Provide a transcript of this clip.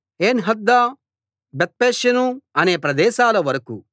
Enhaddah Bethpazzez అనే ప్రదేశాల వరకూ